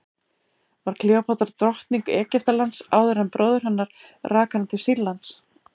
var kleópatra drottning egyptalands áður en bróðir hennar rak hana til sýrlands